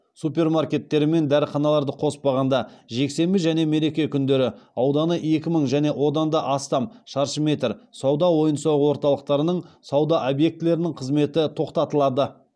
супермаркеттері мен дәріханаларды қоспағанда жексенбі және мереке күндері ауданы екі мың және одан да астам шаршы метр сауда ойын сауық орталықтарының сауда объектілерінің қызметі тоқтатылады